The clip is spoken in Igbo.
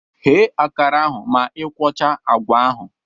Ghe akara ahụ ma ị ikwocha agwa ahụ!